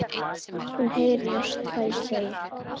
Hún heyrir ekki hvað ég segi.